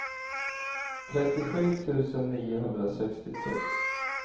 trettiosju tusen niohundrasextiotre